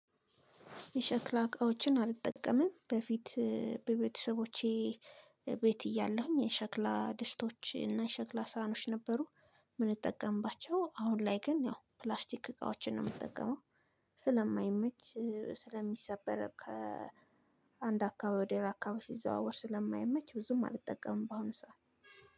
የሸክላ እቃዎችን አልጠቀምም በፊት በቤተሰቦቼ ቤት እያለሁኝ የሸክላ ድስቶች እና የሸክላ ሳህኖች ነበሩ። እምንጠቀምባቸው አሁን ላይ ግን ያው ፕላስቲክ እቃዎችን ነው እምጠቀመው። ስለማይመች ስለሚሰበር ከአንድ አካባቢ ወደ ሌላ አካባቢ ሲዘዋወር ስለማይመች ብዙም አልጠቀምም ባአሁን ሰው